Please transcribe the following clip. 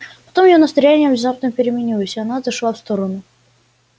потом её настроение внезапно переменилось и она отошла в сторону